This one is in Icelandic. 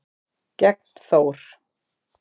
gegn Þór.